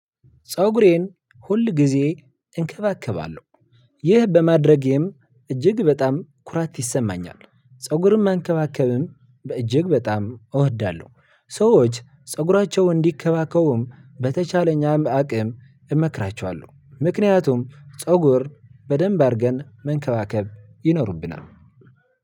ፀጉሬን ሁል ጊዜ እንከባከባለሁ። ይህ በማድረጌም እጅግ በጣም ኩራት ይሰማኛል ፀጉርም መንከባከብም በእጅግ በጣም እወዳለሁ። ሰዎች ፀጉራቸው እንዲከባከቡም በተቻለኝ አቅም እመክራቸዋለሁ። ምክንያቱም ፀጉር በደንብ አድርገን መንከባከብ ይኖርብናል።